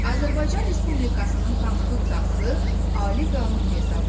Azərbaycan Respublikasının Konstitusiyası ali qanun hesab olunur.